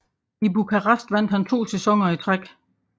I Bucharest vandt han 2 sæsoner i træk